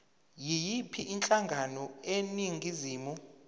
yiyiphi inhlangano eningizimu